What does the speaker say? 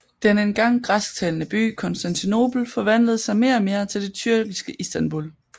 Den engang græsktalende by Konstantinopel forvandlede sig mere og mere til det tyrkiske Istambul